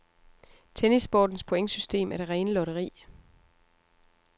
Tennissportens pointsystem er det rene lotteri.